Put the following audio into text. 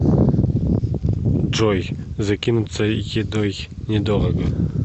джой закинуться едой недорого